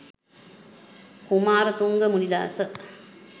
kumarathunga munidasa